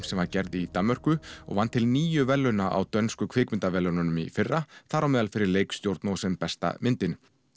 sem var gerð í Danmörku og vann til níu verðlauna á dönsku kvikmyndaverðlaununum í fyrra þar á meðal fyrir leikstjórn og sem besta myndin